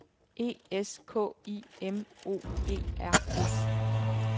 E S K I M O E R S